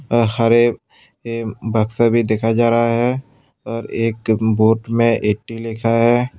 अ हरे बक्शा भी दिखाया जा रहा है और एक बोर्ड में एटी लिखा है।